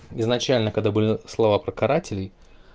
изначально когда были слова про карателей